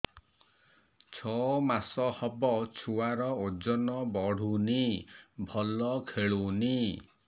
ଛଅ ମାସ ହବ ଛୁଆର ଓଜନ ବଢୁନି ଭଲ ଖେଳୁନି